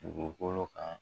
Dugukolo kan